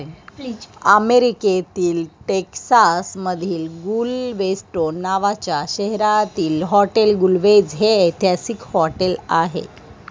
अमेरीकेतील टेक्सास मधिल गुलवेस्टोन नावाच्या शहरातील हॉटेल गुलवेझ हे ऐतिहसिक हॉटेल आहे.